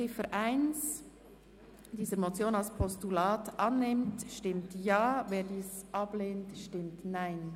Wer die Ziffer 1 dieser Motion als Postulat annimmt, stimmt Ja, wer dies ablehnt, stimmt Nein.